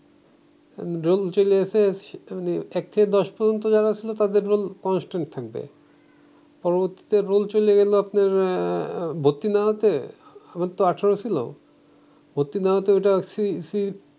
role চলে আসছে এক থেকে দশ পর্যন্ত যারা ছিল তাদের রোল কনস্ট্যান্ট থাকবে পরবর্তীতে রোল চলে গেলো আপনার আহ ভর্তি না হইতে আমারতো আঠারো ছিল ভর্তি না হইতে ঐটা সি সি